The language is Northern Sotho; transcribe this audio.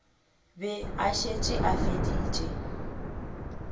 be a šetše a feditše